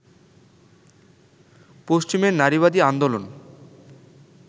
পশ্চিমের নারীবাদী আন্দোলন